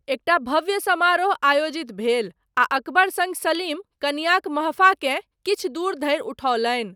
एकटा भव्य समारोह आयोजित भेल, आ अकबर सङ्ग सलीम, कनियाँक महफाकेँ किछु दूर धरि उठओलनि।